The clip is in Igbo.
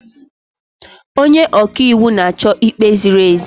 Onye ọka iwu na-achọ ikpe ziri ezi.